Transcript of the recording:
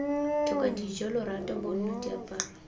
tlhoka dijo lorato bonno diaparo